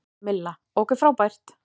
Milla: Ok frábært.